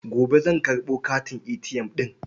Gobe zan karɓo katin ATM ɗin.